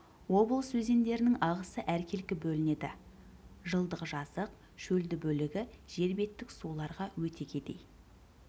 облыс өзендерінің ағысы әркелкі бөлінеді жылдықжазық шөлді бөлігі жер беттік суларға өте кедей